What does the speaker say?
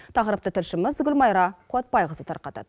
тақырыпты тілшіміз гүлмайра қуатбайқызы тарқатады